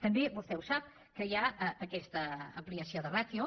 també vostè ho sap que hi ha aquesta ampliació de ràtio